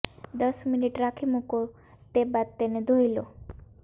દસ મિનિટ રાખી મુકો તે બાદ તેને ધોઇ લો